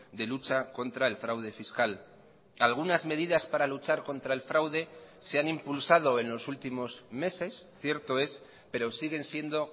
de lucha contra el fraude fiscal algunas medidas para luchar contra el fraude se han impulsado en los últimos meses cierto es pero siguen siendo